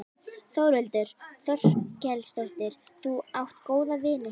Þórhildur Þorkelsdóttir: Þú átt góða vini hérna?